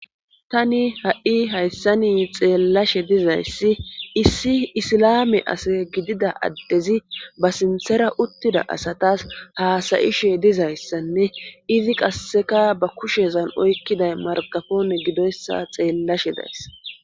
tani ha7i hayssa ni xeellashe dizayssi issi isilame ase gidida addezi ba sinthera uttida asatas haasayishe dizayssanne izi qasseka ba kushezan oykkiday marqafoone gidoyssa xeellashe days